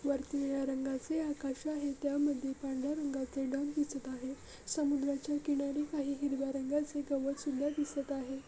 वरती निळ्या रंगाचे आकाश आहे त्यामध्ये पांढर्‍या रंगाचे ढग दिसत आहे समुद्राच्या किनारी काही हिरव्या रंगाचे गवत सुद्धा दिसत आहे.